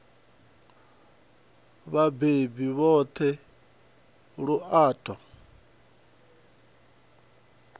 vhabebi vhoṱhe lu a ṱo